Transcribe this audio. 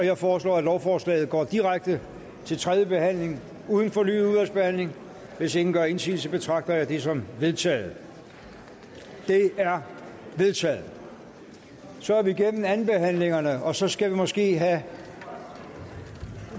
jeg foreslår at lovforslaget går direkte til tredje behandling uden fornyet udvalgsbehandling hvis ingen gør indsigelse betragter jeg det som vedtaget det er vedtaget så er vi igennem andenbehandlingerne og så skal vi måske have